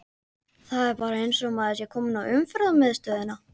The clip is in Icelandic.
Það er bara eins og maður sé kominn á Umferðarmiðstöðina!